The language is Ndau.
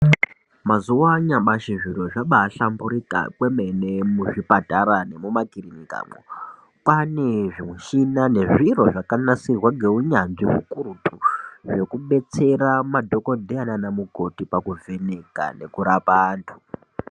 Mazuwa anyamashi zviro zvabahlamburika kwemene muzvipatara nemumakirinikamwo. Kwane zvimushina nezviro zvakanasirwa ngeunyanzvi ukurutu zvekubetsera madhokodheya nana mukoti pakuvheneka nekurapa antu.